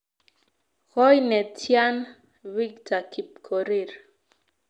Koi netyaan victor kipkorir